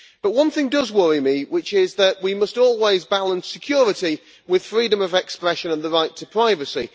But one thing does worry me, which is that we must always balance security with freedom of expression and the right to privacy.